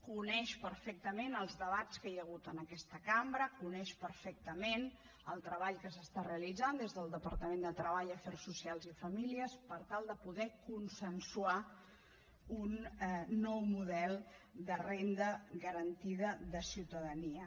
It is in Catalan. coneix perfectament els debats que hi ha hagut en aquesta cambra coneix perfectament el treball que s’està realitzant des del departament de treball afers socials i famílies per tal de poder consensuar un nou model de renda garantida de ciutadania